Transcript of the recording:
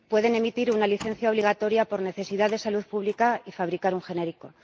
pueden emitir una licencia obligatoria por necesidad de salud pública y fabricar un genérico.